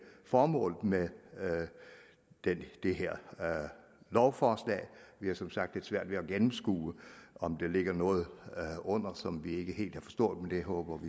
formålet med det her lovforslag vi har som sagt lidt svært ved at gennemskue om der ligger noget under som vi ikke helt har forstået men det håber